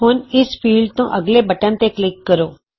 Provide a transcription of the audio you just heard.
ਹੁਣ ਇਸ ਫੀਲ੍ਡ ਤੋਂ ਅੱਗਲੇ ਬਟਨ ਤੇ ਕਲਿਕ ਕਰੋ